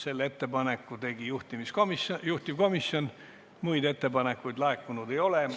Selle ettepaneku tegi juhtivkomisjon, muid ettepanekuid laekunud ei ole.